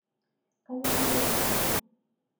kayieu naipotu pizza